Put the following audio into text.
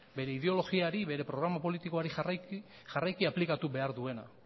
bere ideologiari bere programa politikoari jarraiki aplikatu behar duena